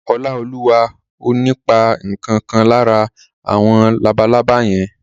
Ọláolúwa ò ní pa ǹkan kan lára àwọn labalábá yẹn